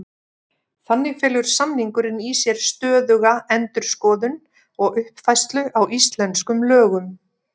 Þannig felur samningurinn í sér stöðuga endurskoðun og uppfærslu á íslenskum lögum.